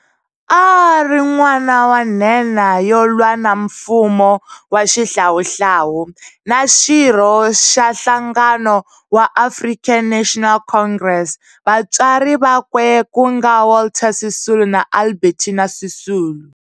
A a ri n'wana wa nhenha yo lwa na mfumo wa Xihlawuhlawu, na xirho xa nhlangano wa African National Congress vatswari vakwe ku nga Walter Sisulu na Albertina Sisulu.